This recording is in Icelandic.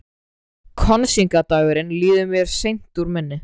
Kosningadagurinn líður mér seint úr minni.